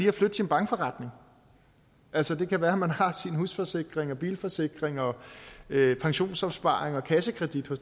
at flytte sin bankforretning altså det kan være at man har sin husforsikring og bilforsikring og pensionsopsparing og kassekredit i